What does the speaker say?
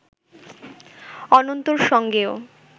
অনন্তর সঙ্গেও